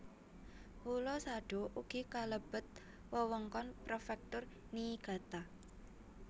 Pulo Sado ugi kalebet wewengkon Prefektur Niigata